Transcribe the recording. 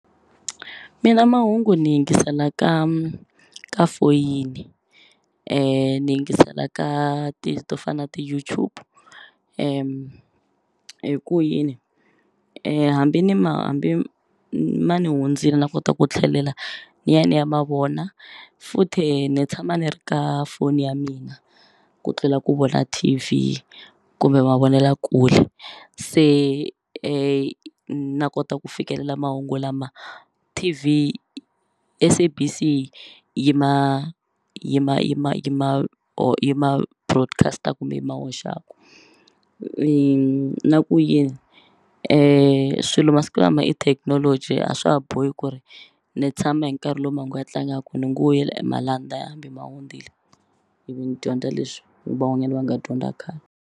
Mina mahungu ni yingisela ka ka foyini ni yingisela ka to fana na ti-YouTube hi ku yini hambi ni ma hambi ma ni hundzini na kota ku tlhelela ni ya ni ya mavona futhe ni tshama ni ri ka foni ya mina ku tlula ku vona T_V kumbe mavonelakule se na kota ku fikelela mahungu lama T_V SABC yi ma yi ma yi ma yi ma or yi ma broadcast-aku kumbe yi ma hoxaku na ku yini swilo masiku lama i thekinoloji a swa ha bohi ku ri ni tshama hi nkarhi lowu mahungu ya tlangaku ni ngo yela e malandza hambi ma hundzile ivi ndzi dyondza leswi van'wanyani va nga dyondza khale.